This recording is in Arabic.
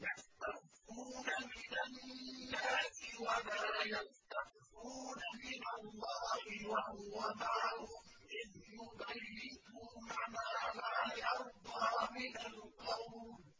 يَسْتَخْفُونَ مِنَ النَّاسِ وَلَا يَسْتَخْفُونَ مِنَ اللَّهِ وَهُوَ مَعَهُمْ إِذْ يُبَيِّتُونَ مَا لَا يَرْضَىٰ مِنَ الْقَوْلِ ۚ